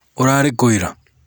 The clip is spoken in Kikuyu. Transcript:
ũrárí kúú ira?